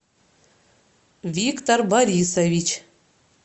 виктор борисович